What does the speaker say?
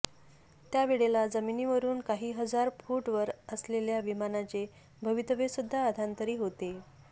त्यावेळेला जमीनीवरून काही हजार फुट वर असलेल्या विमानाचे भवितव्यसुध्दा अधांतरी होते